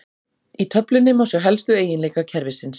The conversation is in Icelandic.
Í töflunni má sjá helstu eiginleika kerfisins.